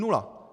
Nula!